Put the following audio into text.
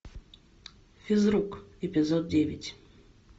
физрук эпизод девять